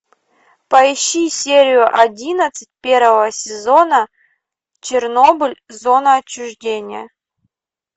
поищи серию одиннадцать первого сезона чернобыль зона отчуждения